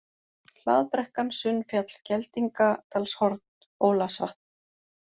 Hlaðbrekkan, Sunnfjall, Geldingadalshorn, Ólafsvatn